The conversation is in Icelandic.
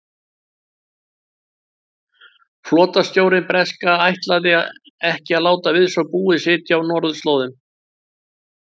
Flotastjórnin breska ætlaði ekki að láta við svo búið sitja á norðurslóðum.